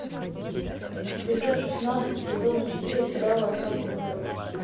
эпизод шестнадцать сезона четыре сериала остаться в живых